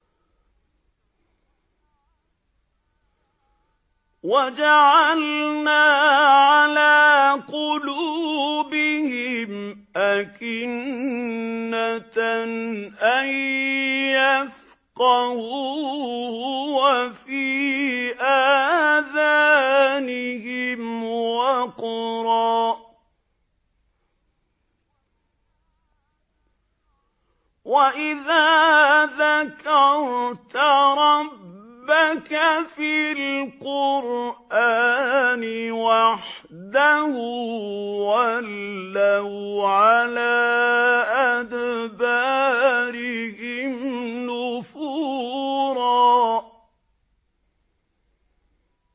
وَجَعَلْنَا عَلَىٰ قُلُوبِهِمْ أَكِنَّةً أَن يَفْقَهُوهُ وَفِي آذَانِهِمْ وَقْرًا ۚ وَإِذَا ذَكَرْتَ رَبَّكَ فِي الْقُرْآنِ وَحْدَهُ وَلَّوْا عَلَىٰ أَدْبَارِهِمْ نُفُورًا